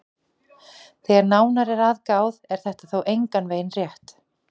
Þegar nánar er að gáð er þetta þó engan veginn rétt.